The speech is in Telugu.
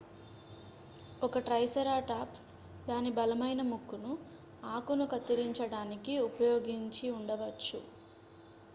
ఒక ట్రైసెరాటాప్స్ దాని బలమైన ముక్కును ఆకును కత్తిరించడానికి ఉపయోగించి ఉండవచ్చు